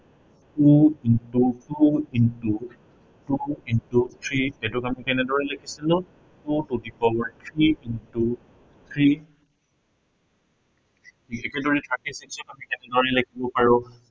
two into two, into two into three এইটোক আমি কেনেদৰে লিখিছিলো, two to the power three into three আমি কেনেদৰে লাখিব পাৰো